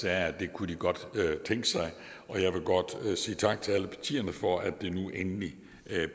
at det kunne de godt tænke sig jeg vil godt sige tak til alle partierne for at det nu endelig